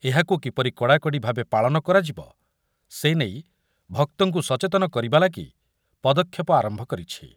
ଏହାକୁ କିପରି କଡ଼ାକଡ଼ି ଭାବେ ପାଳନ କରାଯିବ, ସେନେଇ ଭକ୍ତଙ୍କୁ ସଚେତନ କରିବା ଲାଗି ପଦକ୍ଷେପ ଆରମ୍ଭ କରିଛି।